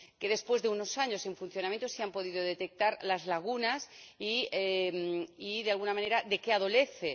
Después de unos años en funcionamiento, se han podido detectar sus lagunas y, de alguna manera, de qué adolece.